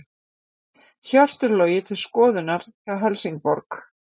Hjörtur Logi til skoðunar hjá Helsingborg